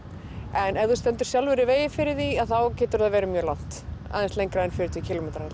en ef þú stendur sjálfur í vegi fyrir því þá getur það verið mjög langt aðeins lengra en fjörutíu kílómetrar